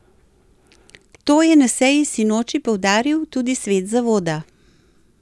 To je na seji sinoči poudaril tudi svet zavoda.